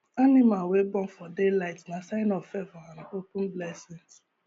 animal wey born for day light nah sign of favour and open blessings